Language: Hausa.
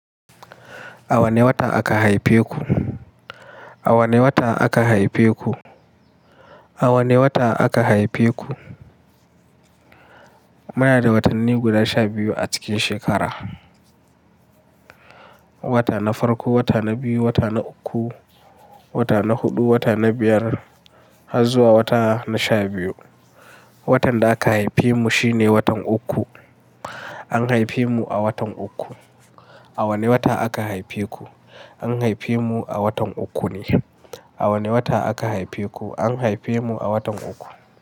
A wane wata aka haife ku? A wane wata aka haife ku? A wane wata aka haife ku? Muna da watanni guda sha biyu a cikin shekara. Wata na farko, wata na biyu, wata na uku, wata na huɗu, wata na biyar har zuwa wata na sha biyu. Watan da aka haife mu shine watan uku. An haife mu a watan uku. A wane wata aka haife ku? An haife mu a watan uku ne. A wane wata aka haife ku? An haife mu a watan uku.